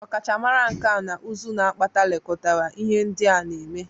Ọkachamara nkà na ụzụ n'apata lekọtara ihe ndị a na-eme